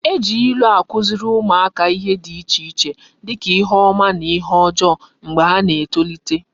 E ji ilu akuziri umuaka ihe di iche dika ihe oma na ihe ojoo mgba ha na etolite